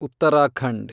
Uttarakhand